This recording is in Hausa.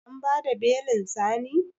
An bada belin Sani?